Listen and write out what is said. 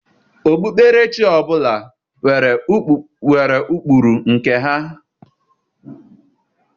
Okpukperechi ọbụla nwere ụkpụrụ nke ha.